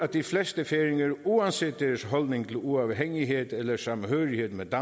de fleste færinger uanset deres holdning til uafhængighed eller samhørighed med